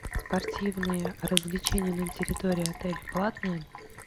спортивные развлечения на территории отеля платные